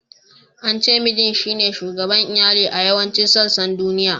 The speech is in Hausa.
An ce Mijin shine shugaban Iyali a yawancin sassan duniya.